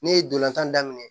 Ne ye dolantan daminɛ